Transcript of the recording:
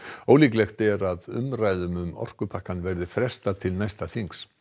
ólíklegt er að umræðum um orkupakkann verði frestað til næsta þings